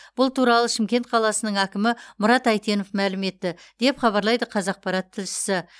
бұл туралы шымкент қаласының әкімі мұрат әйтенов мәлім етті деп хабарлайды қазақпарат тілшісі